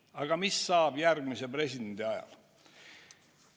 Aga mis saab järgmise presidendi ajal?